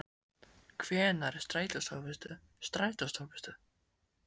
Hvenær er strætóstoppistöð strætóstoppistöð?